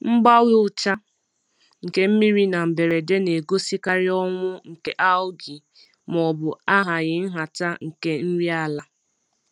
Mgbanwe ucha nke mmiri na mberede na-egosikarị ọnwụ nke algae maọbụ ahaghị nhata nke nri ala.